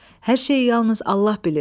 Hər şey yalnız Allah bilir.